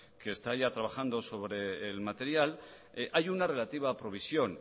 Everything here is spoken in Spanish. que ya está trabajando sobre el material hay una relativa provisión